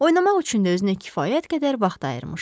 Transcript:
Oynamaq üçün də özünə kifayət qədər vaxt ayırmışdı.